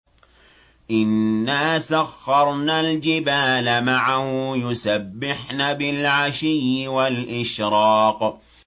إِنَّا سَخَّرْنَا الْجِبَالَ مَعَهُ يُسَبِّحْنَ بِالْعَشِيِّ وَالْإِشْرَاقِ